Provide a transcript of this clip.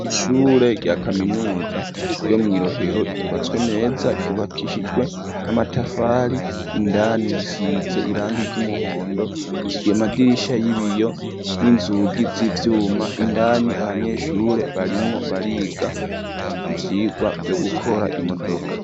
Ishure rya kaminuza ryo mwi Rohero ryubatswe neza ryubakishijwe n'amatafari indani risize irangi ry'umuhondo ryamadirisha y'ibiyo n'inzugi z'ivyuma indani abanyeshure barimwo bariga ivyigwa vyo gukora imodoka.